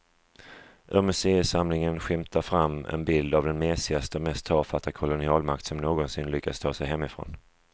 Ur museisamlingen skymtar fram en bild av den mesigaste och mest tafatta kolonialmakt som någonsin lyckats ta sig hemifrån.